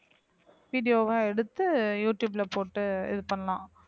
video வா எடுத்து யூடுயூப்ல போட்டு இது பண்ணலாம்